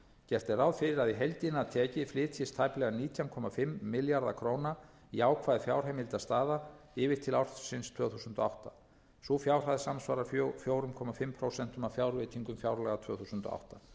gert er ráð fyrir að í heildina tekið flytjist tæplega nítján komma fimm milljarða króna jákvæð fjárheimildastaða yfir til ársins tvö þúsund og átta sú fjárhæð samsvarar fjögur og hálft prósent af fjárveitingum fjárlaga tvö þúsund og